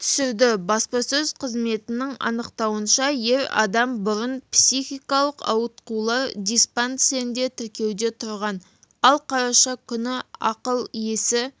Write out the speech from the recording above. түсірді баспасөз қызметінің анықтауынша ер адам бұрын психикалықауытқулар диспансерінде тіркеуде тұрған ал қараша күні ақыл-есі